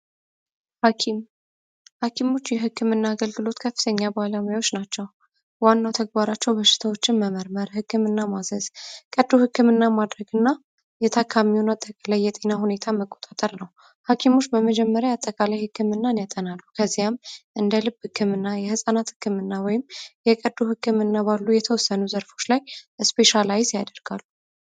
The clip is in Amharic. የህክምና አገልግሎት ከፍተኛ ባለሙያዎች ናቸው ተግባራቸው በሽታዎችን መመርመር ህክምና ማዘዝ የተካሚ የጤና ሁኔታ ሀኪሞች በመጀመሪያ አጠቃላይ ህክምናም እንደልብ ህክምና የህፃናት ህክምና ወይም ህክምና ባሉ የተወሰኑ ዘርፎች ላይ ስፔሻላይዝ ያደርጋል